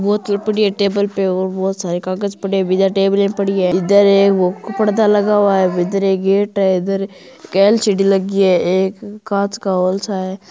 बोतल पड़ी है टेबल पर इधर बहुत से कागज पड़ी है इधर टेबल पड़े हैं ईधर पर्दा लगा हुआ इधर एक गेट है एक एलसीडी लगी है इधर कांचका हॉल सा हैं।